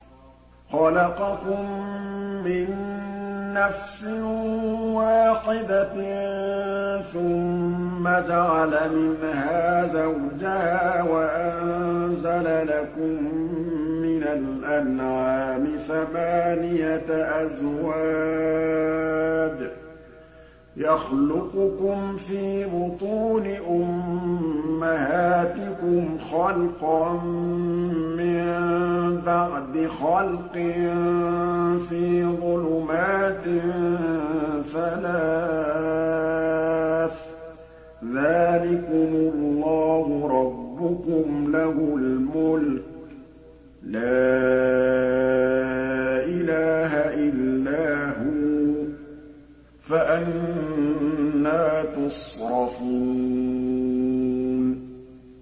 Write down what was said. خَلَقَكُم مِّن نَّفْسٍ وَاحِدَةٍ ثُمَّ جَعَلَ مِنْهَا زَوْجَهَا وَأَنزَلَ لَكُم مِّنَ الْأَنْعَامِ ثَمَانِيَةَ أَزْوَاجٍ ۚ يَخْلُقُكُمْ فِي بُطُونِ أُمَّهَاتِكُمْ خَلْقًا مِّن بَعْدِ خَلْقٍ فِي ظُلُمَاتٍ ثَلَاثٍ ۚ ذَٰلِكُمُ اللَّهُ رَبُّكُمْ لَهُ الْمُلْكُ ۖ لَا إِلَٰهَ إِلَّا هُوَ ۖ فَأَنَّىٰ تُصْرَفُونَ